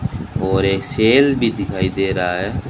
और एक सेल भी दिखाई दे रहा है।